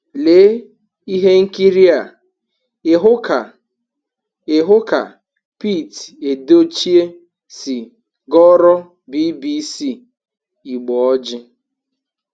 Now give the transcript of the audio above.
Lee ihe nkịrịa ịhụ ka ihụ ka Pete Edochie si gọọrọ BBC Igbo ọjị: